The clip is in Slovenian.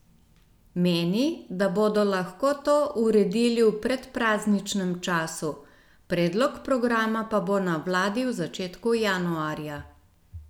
Meni, da bodo lahko to uredili v predprazničnem času, predlog programa pa bo na vladi v začetku januarja.